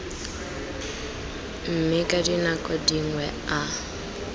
mme ka dinako dingwe a